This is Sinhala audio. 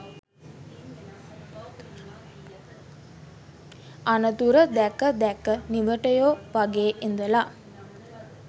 අනතුර දැක දැක නිවටයො වගේ ඉඳල